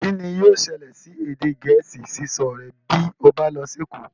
Kín ni yóò ṣẹlẹ̀ sí èdè gẹ̀ẹ́sì sísọ rẹ bí ó bá lọ sí èkó